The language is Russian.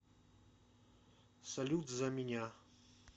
салют за меня